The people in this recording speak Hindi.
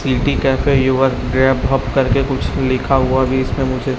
सिटी कैफे युअर ब्रेकअप युवक गया करके कुछ लिखा हुआ भी इसमें मुझे--